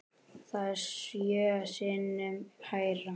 Það er sjö sinnum hærra.